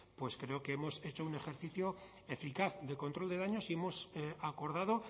pues creo que hemos hecho un ejercicio eficaz de control de daños y hemos acordado